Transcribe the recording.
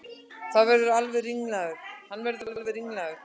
Hann verður alveg ringlaður.